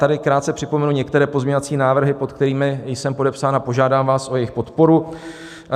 Tady krátce připomenu některé pozměňovací návrhy, pod kterými jsem podepsán, a požádám vás o jejich podporu.